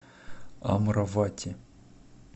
амравати